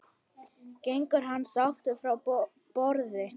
Gengur hann sáttur frá borði?